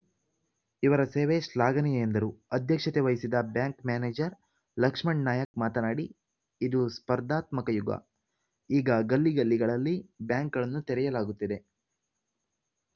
ಇವರ ಸೇವೆ ಶ್ಲಾಘನೀಯ ಎಂದರು ಅಧ್ಯಕ್ಷತೆ ವಹಿಸಿದ್ದ ಬ್ಯಾಂಕ್‌ ಮ್ಯಾನೇಜರ್‌ ಲಕ್ಷ್ಮಣ್ ನಾಯಕ್‌ ಮಾತನಾಡಿ ಇದು ಸ್ಪರ್ಧಾತ್ಮಕ ಯುಗ ಈಗ ಗಲ್ಲಿಗಲ್ಲಿಗಳಲ್ಲಿ ಬ್ಯಾಂಕ್‌ಗಳನ್ನು ತೆರೆಯಲಾಗುತ್ತಿದೆ